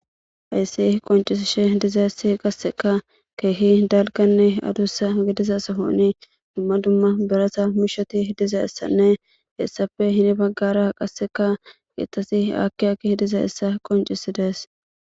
Ayssi qoncisishe dizaessi qasseka keehi dalkanne adussa gidiza sahoni dumma dumma berasa mushoti dizayessanne hessafe hini baggara qasseka kietasi aakiyakki dizaessa qoncisi dees.